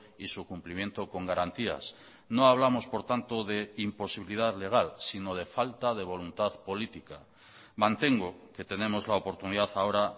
y su cumplimiento con garantías no hablamos por tanto de imposibilidad legal sino de falta de voluntad política mantengo que tenemos la oportunidad ahora